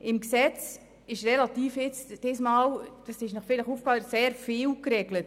Im Gesetz ist nun sehr vieles geregelt.